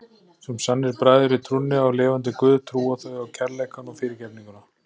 Sem sannir bræður í trúnni á lifanda guð trúa þau á kærleikann og fyrirgefninguna.